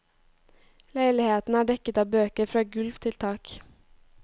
Leiligheten er dekket av bøker fra gulv til tak.